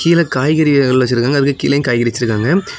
கீழ காய்கறி வகைகள் வச்சிருக்காங்க அதுக்கு கீழயும் காய்கறி வச்சிருக்காங்க.